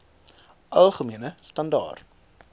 algemene standaar